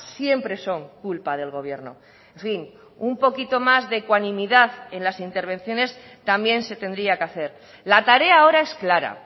siempre son culpa del gobierno en fin un poquito más de ecuanimidad en las intervenciones también se tendría que hacer la tarea ahora es clara